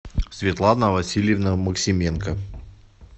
светлана васильевна максименко